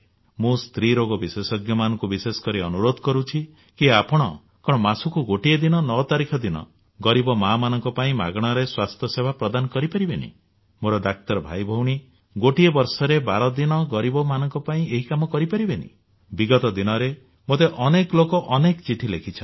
ମୁଁ ସ୍ତ୍ରୀ ରୋଗ ବିଶେଷଜ୍ଞମାନଙ୍କୁ ବିଶେଷ କରି ଅନୁରୋଧ କରୁଛି କି ଆପଣ କଣ ମାସକୁ ଗୋଟିଏ ଦିନ 9 ତାରିଖ ଦିନ ଗରିବ ମାଆମାନଙ୍କ ପାଇଁ ମାଗଣାରେ ସେବା ପ୍ରଦାନ କରିପାରିବେନି ମୋର ଡାକ୍ତର ଭାଇଭଉଣୀମାନେ ଗୋଟିଏ ବର୍ଷରେ 12 ଦିନ ଗରିବମାନଙ୍କ ପାଇଁ ଏହି କାମ କରିପାରିବେନି ବିଗତ ଦିନରେ ମୋତେ ଅନେକ ଲୋକ ଅନେକ ଚିଠି ଲେଖିଛନ୍ତି